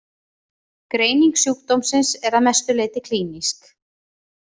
Greining sjúkdómsins er að mestu leyti klínísk.